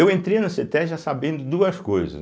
Eu entrei na cêtésbe já sabendo de duas coisas.